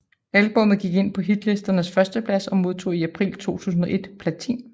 Albummet gik ind på hitlistens førsteplads og modtog i april 2001 platin